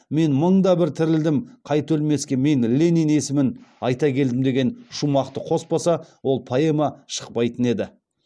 мен мың да бір тірілдім қайта өлмеске мен ленин есімін айта келдім деген шумақты қоспаса ол поэма шықпайтын еді